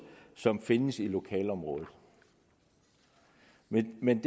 som findes i lokalområdet men men